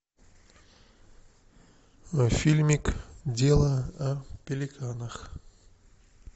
фильмик дело о пеликанах